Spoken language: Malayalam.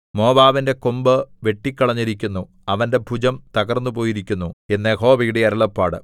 മോവാബിന്റെ കൊമ്പ് വെട്ടിക്കളഞ്ഞിരിക്കുന്നു അവന്റെ ഭുജം തകർന്നുപോയിരിക്കുന്നു എന്ന് യഹോവയുടെ അരുളപ്പാട്